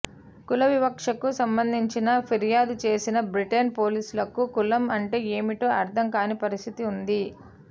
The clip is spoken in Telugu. కులవివక్షకు సంబంధించిన ఫిర్యాదు చేసినా బ్రిటన్ పోలీసులకు కులం అంటే ఏమిటో అర్ధం కాని పరిస్థితి ఉంది